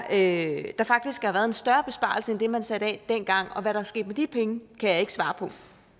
at der faktisk har været en større besparelse end det man satte af dengang og hvad der er sket med de penge kan jeg ikke svare på